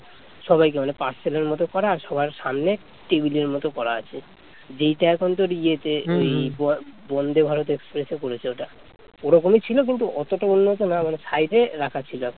বন্দে Bharat express এ করেছে ওইটা ওই রকমই ছিল কিন্তু অতটা ওরমতো না মানে side এ রাখা ছিল